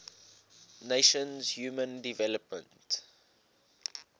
nations human development